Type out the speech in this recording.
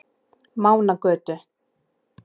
Mánagötu